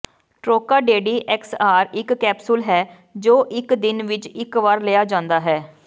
ਟ੍ਰੋਕਾਡੇਡੀ XR ਇੱਕ capsule ਹੈ ਜੋ ਇੱਕ ਦਿਨ ਵਿੱਚ ਇੱਕ ਵਾਰ ਲਿਆ ਜਾਂਦਾ ਹੈ